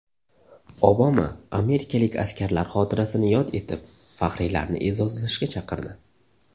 Obama amerikalik askarlar xotirasini yod etib, faxriylarni e’zozlashga chaqirdi.